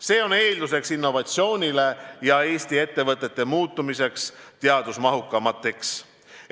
See on eeldus innovatsioonile ja sellele, et Eesti ettevõtted muutuvad teadusmahukamateks.